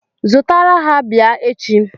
Zụtara ha bịa echi!